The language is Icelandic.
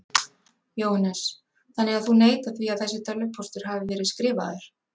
Jóhannes: Þannig að þú neitar því að þessi tölvupóstur hafi verið skrifaður?